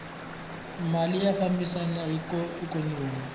mali ya fambisana na ikhonomi